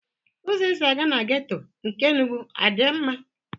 Ụzọ e si aga na geto nke Enugwu a dị mma?